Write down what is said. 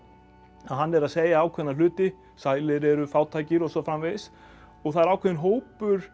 hann er að segja ákveðna hluti sælir eru fátækir og svo framvegis og það er ákveðinn hópur